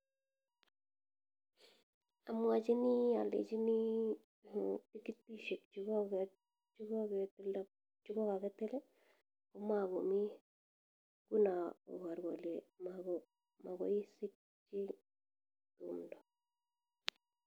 Amwachini alechini , en petushek chikokakkitil kamakomi nguno kobaru kole mabaishe .